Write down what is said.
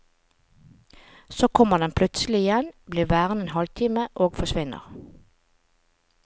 Så kommer den plutselig igjen, blir værende en halvtime og forsvinner.